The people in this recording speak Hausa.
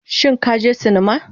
Shin ka je sinima